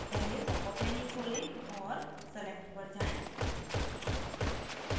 पहले popअप menu खोलें और select पर जाएँ